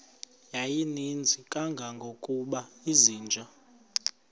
yayininzi kangangokuba izinja